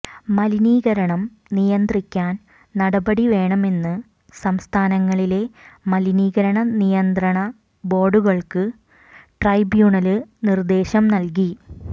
മലിനീകരണം നിയന്ത്രിക്കാൻ നടപടി വേണമെന്ന് സംസ്ഥാനങ്ങളിലെ മലിനീകരണ നിയന്ത്രണ ബോര്ഡുകള്ക്ക് ട്രൈബൂണല് നിര്ദ്ദേശം നല്കി